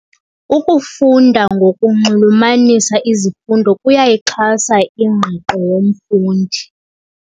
Ukufunda ngokunxulumanisa izifundo kuyayixhasa ingqiqo yomfundi.